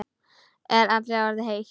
Er allri orðið heitt.